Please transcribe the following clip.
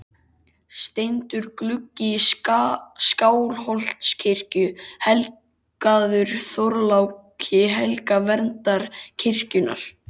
Steindur gluggi í Skálholtskirkju, helgaður Þorláki helga, verndara kirkjunnar.